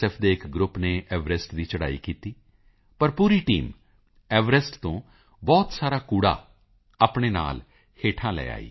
ਦੇ ਇੱਕ ਗਰੁੱਪ ਨੇ ਐਵਰੈਸਟ ਦੀ ਚੜ੍ਹਾਈ ਕੀਤੀ ਪਰ ਪੂਰੀ ਟੀਮ ਐਵਰੈਸਟ ਤੋਂ ਬਹੁਤ ਸਾਰਾ ਕੂੜਾ ਆਪਣੇ ਨਾਲ ਹੇਠਾਂ ਲੈ ਕੇ ਆਈ